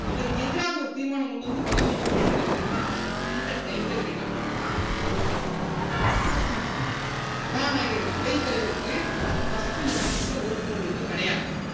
அவருக்கு எதிராக ஒரு தீர்மானம் கொண்டு வந்து பதவி நீக்கம் பண்ணிட்டிருக்காங்க தெரியுமா அந்த time ல இவர் என்ன பண்ணுவாருன்னா vote டு போடுவாரு first instant சபாநாயகருக்கு அவைத்தலைவருக்கு first instance ல vote உ போடுற உரிமை கிடையாது